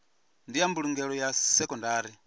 ndi ya mbulungelo ya sekondari